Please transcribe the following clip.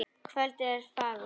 Kvöldið er fagurt.